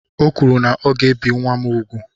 O kwuru na ọ ga-ebi nwa m úgwù.